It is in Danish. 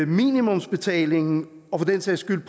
minimumsbetalingen og for den sags skyld